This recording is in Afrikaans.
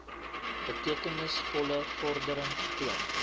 betekenisvolle vordering getoon